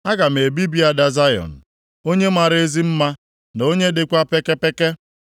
Aga m ebibi ada Zayọn, onye mara ezi mma, na onye dịkwa pekepeke.